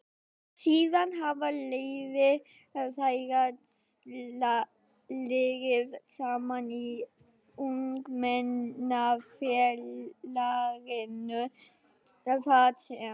Síðan hafa leiðir þeirra legið saman í Ungmennafélaginu þar sem